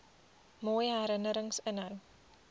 mooi herinnerings inhou